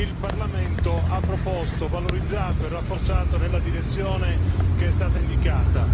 il Parlamento ha proposto, valorizzato e rafforzato nella direzione che è stata indicata.